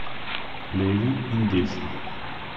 Levi in desni.